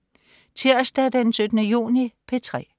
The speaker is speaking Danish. Tirsdag den 17. juni - P3: